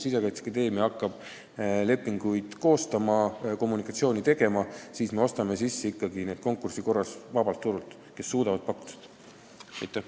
Kui Sisekaitseakadeemia hakkab lepinguid koostama ja kommunikatsiooni tegema, siis me ostame teenuse sisse konkursi korras vabalt turult, neilt, kes ikkagi suudavad seda teenust pakkuda.